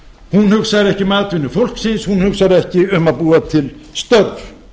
hugsar ekki um atvinnu fólksins hún hugsar ekki um að búa til störf